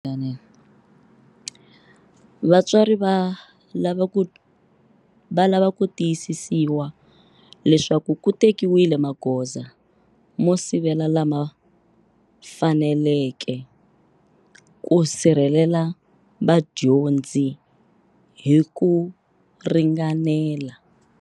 Vatswari va lava ku tiyisisiwa leswaku ku tekiwile magoza mo sivela lama faneleke ku sirhelela vadyondzi hi ku ringanela.